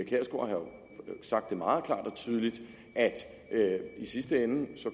sagt meget klart og tydeligt at i sidste ende